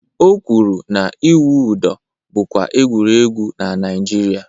O kwụrụ na-ịwụ ụdọ bụkwa egwuregwu na Naịjirịa